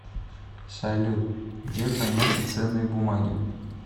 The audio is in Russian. салют где хранятся ценные бумаги